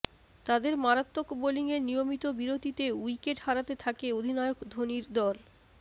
তাদের মারাত্বক বোলিংয়ে নিয়মিত বিরতিতে উইকেট হারাতে থাকে অধিনায়ক ধোনির দল